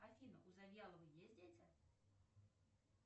афина у завьяловой есть дети